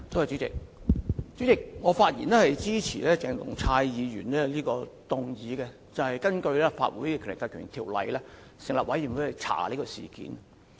主席，我發言支持鄭松泰議員的議案，根據《立法會條例》成立專責委員會調查事件。